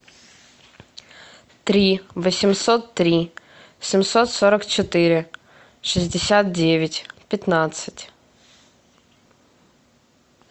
три восемьсот три семьсот сорок четыре шестьдесят девять пятнадцать